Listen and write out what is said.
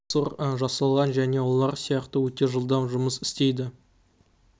олар процессор жасалған және олар сияқты өте жылдам жұмыс істейді